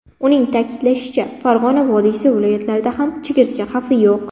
Uning ta’kidlashicha, Farg‘ona vodiysi viloyatlarida ham chigirtka xavfi yo‘q.